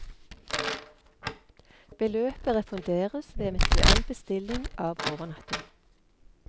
Beløpet refunderes ved eventuell bestilling av overnatting.